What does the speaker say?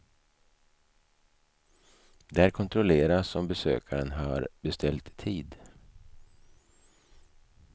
Där kontrolleras om besökaren har beställt tid.